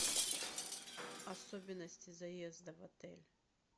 особенности заезда в отель